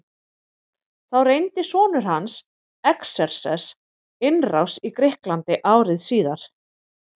Þá reyndi sonur hans Xerxes innrás í Grikkland ári síðar.